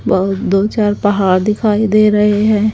बहोत दो चार पहाड़ दिखाई दे रहे हैं।